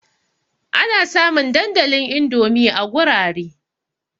Ana samun dandalin Indomi a gurare.